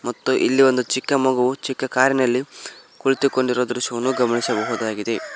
ಮತ್ತೆ ಇಲ್ಲಿ ಒಂದು ಚಿಕ್ಕ ಮಗು ಚಿಕ್ಕ ಕಾರಿನಲ್ಲಿ ಕುಳಿತುಕೊಂಡಿರುವ ದೃಶ್ಯವನ್ನು ಗಮನಿಸಬಹುದಾಗಿದೆ.